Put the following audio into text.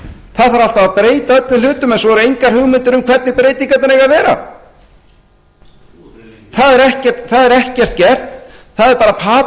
það þarf alltaf að breyta öllum hlutum en svo eru engar hugmyndir um hvernig breytingarnar eigi að vera það er ekkert gert það er bara patað út